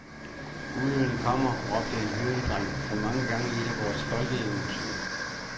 Ulven kommer, råbte en hyrdedreng for mange gange i et af vores folkeeventyr.